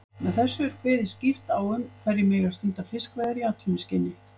Með þessu er kveðið skýrt á um hverjir megi stunda fiskveiðar í atvinnuskyni.